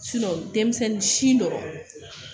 denmisɛnnin si dɔrɔn